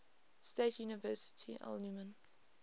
state university alumni